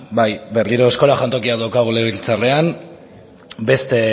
bai berriro eskola jantokiak daukagu legebiltzarrean beste